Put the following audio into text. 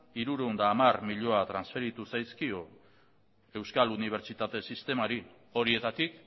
hirurehun eta hamar milioi transferitu zaizkio euskal unibertsitate sistemari horietatik